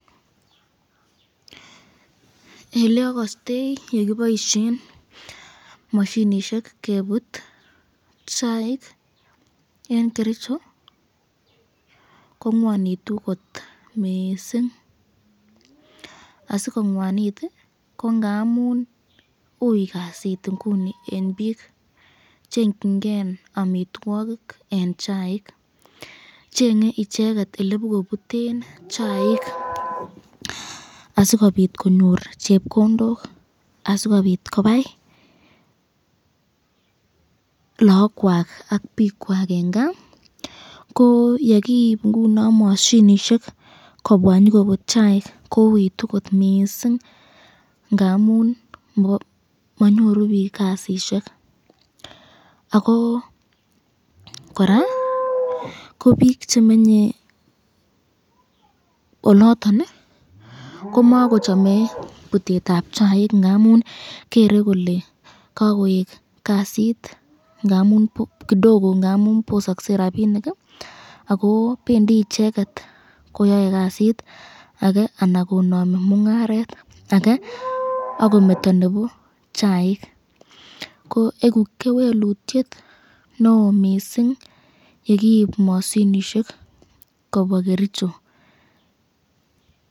Eleakaste yekiboisyen mashinishek kebut chaik eng kericho ko ngwanitu kot mising, asikongwanit ko ngamun ui kasit inguni eng bik, chengyin ken amitwokik eng chaik ,chenge icheket elebokobuten chaik asikobit konyor chepkondok asikobit konai lakwak ak bikwsk eng kaa ,ko yekiib ingunon mashinishek kobwa nyokobut chaik kouitu kot missing ngamun manyoru bik kasisyek ,ako koraa ko bik chemenye oloton komako chame butetab chaik , ngamun Gere kole kakowek kasit kidogo ngamun bosakse kasit ,ako bendi icheket koyae kasit ake anan Konami mungaret ake, akometo nebo chaik, eku kewelutyet neo mising yekiib mashinishek kobwa kericho.